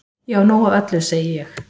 Ég á nóg af öllu segi ég.